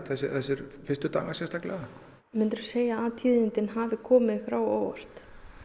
þessir fyrstu dagar sérstaklega myndirðu segja að tíðindin hafi komið ykkur á óvart